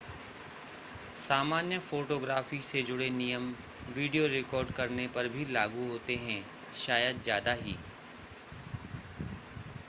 सामान्य फ़ोटोग्राफ़ी से जुड़े नियम वीडियो रिकॉर्ड करने पर भी लागू होते हैं शायद ज़्यादा ही